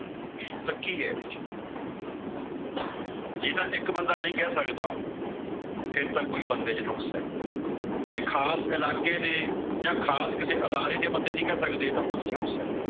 ਤਾਂ ਕੀ ਏ ਵਿੱਚ? ਜੇ ਤਾਂ ਇੱਕ ਬੰਦਾ ਨਹੀਂ ਕਹਿ ਸਕਦਾ। ਫੇਰ ਤਾਂ ਬੰਦੇ ਚ ਕੋਈ ਨੁਕਸ ਏ। ਜੇ ਖਾਸ ਇਲਾਕੇ ਦੇ ਜਾਂ ਖਾਸ ਕਿਸੇ ਅਧਾਰੇ ਦੇ ਬੰਦੇ ਨਹੀਂ ਕਹਿ ਸਕਦੇ ਤਾਂ ਉਹਂਦੇ ਚ ਨੁਕਸ ਏ।